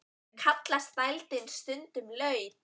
Kallast dældin stundum laut.